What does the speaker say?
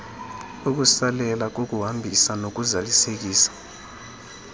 ukusalela kokuhambisa nokuzalisekisa